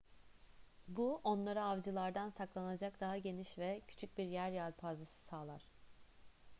bu onlara avcılardan saklanacak daha geniş ve küçük bir yer yelpazesi sağlar